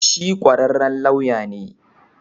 Shi kwararren lauya ne.